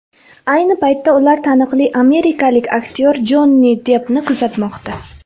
Ayni paytda ular taniqli amerikalik aktyor Jonni Deppni kuzatmoqda.